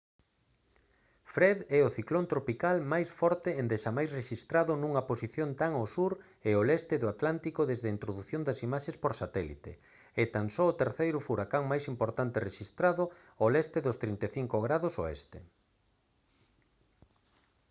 fred é o ciclón tropical máis forte endexamais rexistrado nunha posición tan ao sur e ao leste do atlántico desde a introdución das imaxes por satélite e tan só o terceiro furacán máis importante rexistrado ao leste dos 35° w